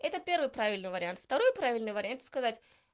это первый правильный вариант второй правильный вариант это сказать